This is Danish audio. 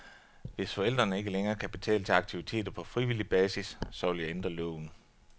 Hvis forældrene ikke længere kan betale til aktiviteter på frivillig basis, så vil jeg ændre loven.